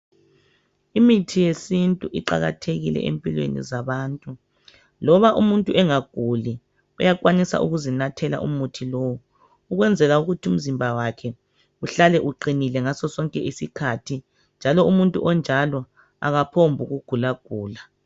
Imithi yesintu iqakathekile empilweni zabantu loba umuntu engaguli uyakwanisa ukuzinathela umuthi lowu ukwenzela ukuthi umzimba wakhe uhlale uqinile ngasosonke isikhathi njalo umuntu onjalo akaphombu kugula gula.